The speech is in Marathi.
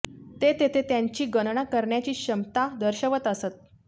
ते तेथे त्यांची गणना करण्याची क्षमता दर्शवत असत